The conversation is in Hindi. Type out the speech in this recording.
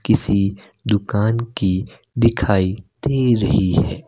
किसी दुकान की दिखाई दे रही है।